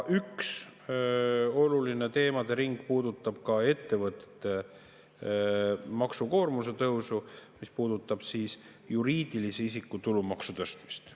Üks oluline teemadering puudutab ka ettevõtete maksukoormuse tõusu seoses juriidilise isiku tulumaksu tõstmisega.